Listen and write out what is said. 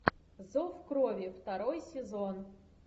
зов крови второй сезон